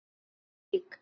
Þið eruð lík.